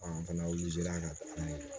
An fana ka taa